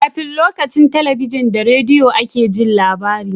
Kafin lokacin talabijin da rediyo a ke Jin labari